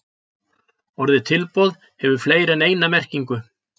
orðið tilboð hefur fleiri en eina merkingu